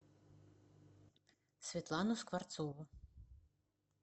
светлану скворцову